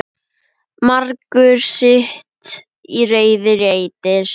Margur sitt í reiði reitir.